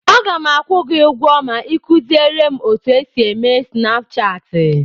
Aga m akwụ gị ụgwọ ma ị kuziere m otu esi eme Snapchaatị.